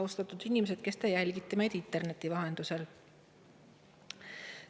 Austatud inimesed, kes te jälgite meid interneti vahendusel!